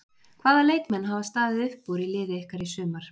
Hvaða leikmenn hafa staðið upp úr í liði ykkar í sumar?